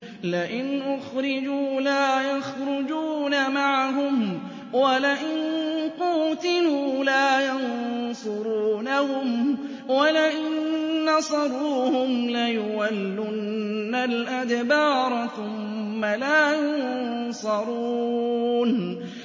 لَئِنْ أُخْرِجُوا لَا يَخْرُجُونَ مَعَهُمْ وَلَئِن قُوتِلُوا لَا يَنصُرُونَهُمْ وَلَئِن نَّصَرُوهُمْ لَيُوَلُّنَّ الْأَدْبَارَ ثُمَّ لَا يُنصَرُونَ